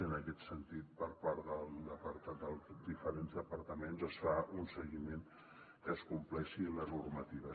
i en aquest sentit per part dels diferents departaments es fa un seguiment que es compleixi la normativa